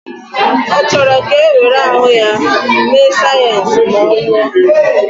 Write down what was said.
Ọ chọrọ ka e were ahụ ya mee sayensị ma ọ nwụọ